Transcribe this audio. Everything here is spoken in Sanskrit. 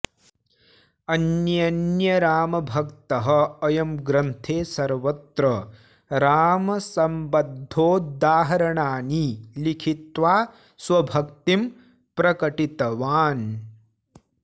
अन्यन्यरामभक्तः अयं ग्रन्थे सर्वत्र रामसम्बद्धोदाहरणानि लिखित्वा स्वभक्तिं प्रकटितवान्